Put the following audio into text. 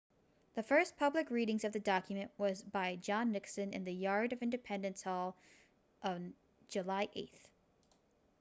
the first public reading of the document was by john nixon in the yard of independence hall on july 8